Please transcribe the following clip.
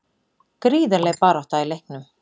Gríðarleg barátta í leiknum